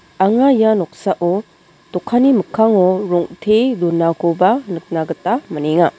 anga ia noksao dokanni mikkango rong·te donakoba nikna gita man·enga.